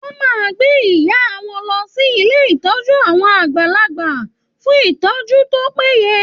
Wọn máa gbé ìyá wọn lọ sí ilé ìtọ́jú àwọn àgbàlagbà fún ìtọ́jú tó péye.